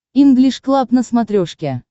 инглиш клаб на смотрешке